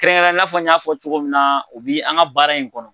Kɛrɛnkɛrɛnnen ya la, i n'a fɔ n y'a fɔ cogo min na o bi an ka baara in kɔnɔ.